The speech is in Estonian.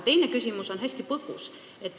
Teine küsimus on hästi põgus.